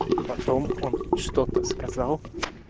потом он что-то сказал